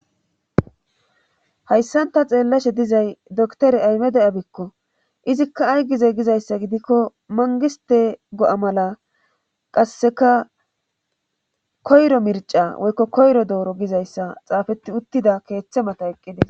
Hayssan ta xeellashe dizay dokttere aymede abikko izikka ay giza gizayssa gidikko manggistte gi7a mala qasseka koyro mircca woykko koyro doora gizayssa xaafettiuttida keethe mata eqqiddes.